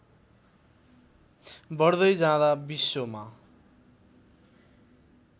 बढ्दै जाँदा विश्वमा